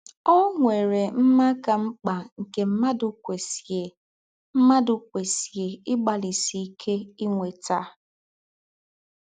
Ọ̀ nwèrè mmá kà m̀kpà nkē mmádụ̀ kwesíè mmádụ̀ kwesíè ígbálísí íké ínwétà?